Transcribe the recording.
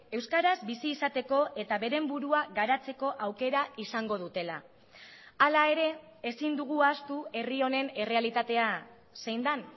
euskaraz bizi izateko eta beren burua garatzeko aukera izango dutela hala ere ezin dugu ahaztu herri honen errealitatea zein den